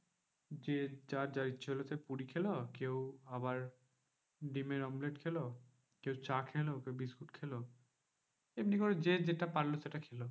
দিয়ে যার যা ইচ্ছা হলো কেউ পুরি খেলো, কেউ আবার ডিমের omelette খেলো, কেউ চা খেলো বা বিস্কুট খেলো। এমনি করে যে যেটা পারলো সেটা খেলো।